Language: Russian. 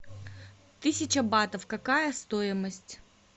тысяча батов какая стоимость